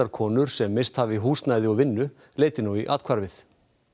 konur sem misst hafa húsnæði og vinnu leiti nú í athvarfið